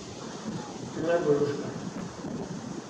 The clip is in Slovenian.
Najbolj luškan.